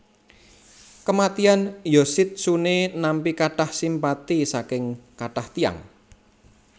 Kematian Yoshitsune nampi katah simpati saking katah tiyang